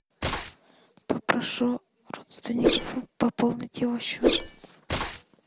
попрошу родственников пополнить его счет